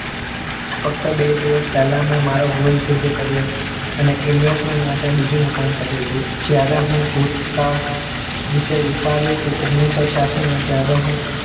ફક્ત બે દિવસ પહેલાં મેં મારો goal સિદ્ધ કર્યો અને investment માટે બીજું મકાન ખરીદ્યું જયારે હું ભૂતકાળ વિશે વિચારું છું ઓગનીશો છયાશીમાં માં જ્યારે હું